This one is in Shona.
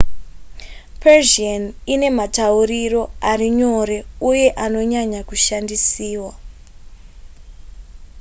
persian ine matauriro ari nyore uye anonyanya kushandisiwa